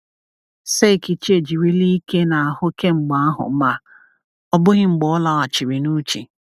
Seikichi ejirila ike n’ahụ kemgbe ahụ ma ọ bụghị mgbe ọ laghachiri n’uche.